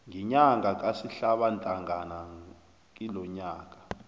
ngenyanga kasihlabantangana kilonyaka